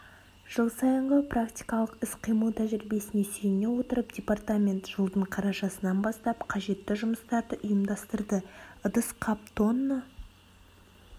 жыл сайынғы практикалық іс-қимыл тәжірибесіне сүйене отырып департамент жылдың қарашасынан бастап қажетті жұмыстарды ұйымдастырды ыдыс-қап тонна